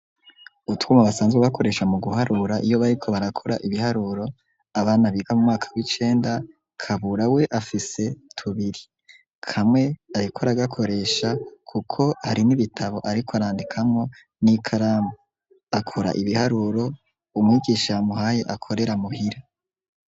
Utwuma basanzwe bakoresha mu guharura iyo bariko barakora ibiharuro abana biga mu mwaka w'icenda Kabura we afise tubiri kamwe ariko aragakoresha kuko hari n'ibitabo ariko arandikamwo n'ikaramu akora ibiharuro umwigisha yamuhaye akorera mu hira.